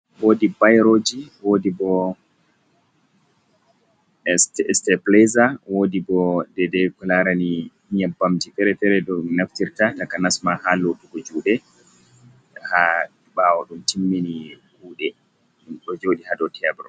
Woodi bayroji, woodi bo stepileza, woodi bo nde nde kolaarani nyambamji fere-fere. Ɗum naftirta takanasma haa lotugo juɗe, haa ɓaawo ɗum timmini kuuɗe. Ɗo joɗi haa do tebur.